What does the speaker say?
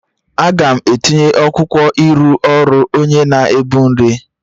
Aga m etinye akwụkwọ ịrụ ọrụ onye na-ebu nri